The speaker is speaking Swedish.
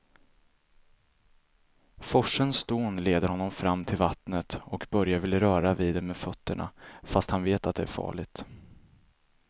Forsens dån leder honom fram till vattnet och Börje vill röra vid det med fötterna, fast han vet att det är farligt.